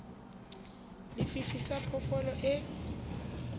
le fifi sa phoofolo e